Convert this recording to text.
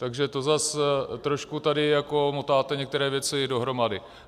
Takže to zase trošku tady jako motáte některé věci dohromady.